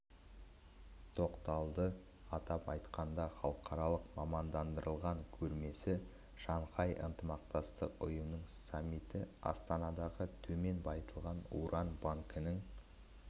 тоқталды атап айтқанда халықаралық мамандандырылған көрмесі шанхай ынтымақтастық ұйымының саммиті астанадағы төмен байытылған уран банкінің